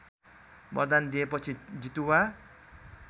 वरदान दिएपछि जितुवा